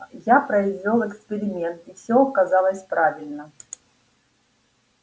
я произвёл эксперимент и все оказалось правильно